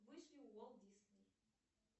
вышли уолт дисней